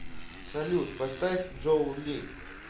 салют поставь джоу ли